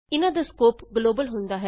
ਇਹਨਾਂ ਦਾ scope global ਹੁੰਦਾ ਹੈ